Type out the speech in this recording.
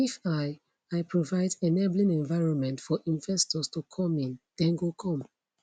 if i i provide enabling environment for investors to come in dem go come